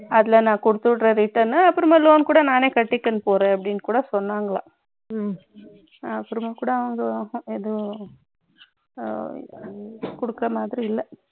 அதுல நான் கொடுத்துவிடுகிறேன் return அப்புறமா loan கூட நானே கட்டிக்க போறேன் அப்படின்னு சொன்னார்களாம் அப்புறமா கூட அவங்க ஏதோ கொடுக்குற மாதிரி இல்ல